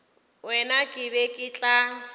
wena ke be ke tla